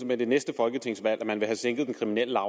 med det næste folketingsvalg at man vil have sænket den kriminelle